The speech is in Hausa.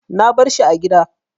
Na bar shi a gida.